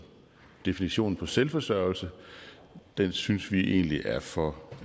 definitionen på selvforsørgelse den synes vi egentlig er for